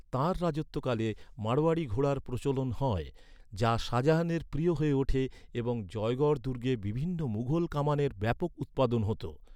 তাঁর রাজত্বকালে, মারোয়াড়ি ঘোড়ার প্রচলন হয়, যা শাহজাহানের প্রিয় হয়ে ওঠে, এবং জয়গড় দুর্গে বিভিন্ন মুঘল কামানের ব্যাপক উৎপাদন হতো।